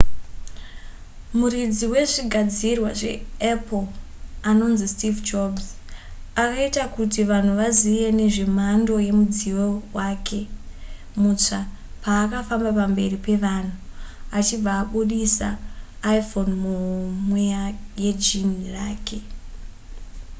muridzi wezvigadzirwa zveapple anonzi steve jobs akaita kuti vanhu vazive nezvemhando yemudziyo wake mutsva paakafamba pamberi pevanhu achibva abudisa iphone muhomwe yejini rake